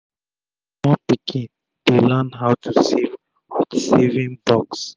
small pikin fit dey learn how to save with saving box